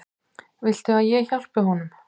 Viltu að ég hjálpi honum?